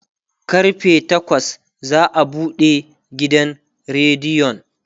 karfe takwas za'a buɗe gidan rediyon